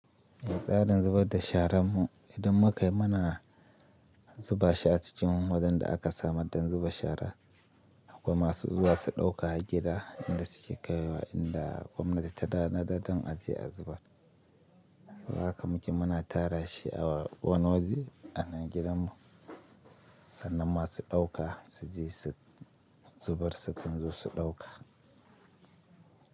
Tsarin zubar da shara mu idan muka yi mana zuba shi a cikin wajen da aka samar don zuba shara, kuma masu zuwa su ɗauka gida inda su ke kaiwa inda gwamnati ta da nadaddan aje a zubar. Saboda haka muke mana tara shi a wani waje a nan gidan mu sannan masu ɗauka su je su zubar sukan je su ɗauka.